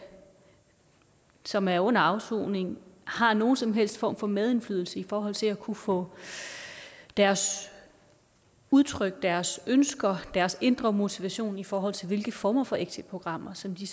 som er under afsoning har nogen som helst form for medindflydelse i forhold til at kunne få deres udtryk deres ønsker deres indre motivation i forhold til hvilke former for exitprogrammer som de